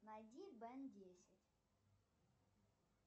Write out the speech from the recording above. найди бен десять